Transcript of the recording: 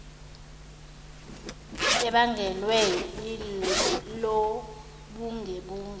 ebangelwe ilobuge bengu